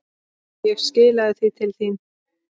Ég skilaði því til þín.